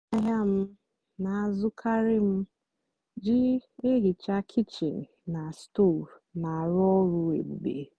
ngwaáahịa m na-àzukári m jì èhìcha kịchìn na stóv na-àrụ́ ọ́rụ́ èbùbè.